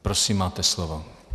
Prosím, máte slovo.